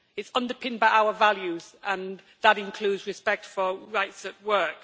It is underpinned by our values, and that includes respect for rights at work.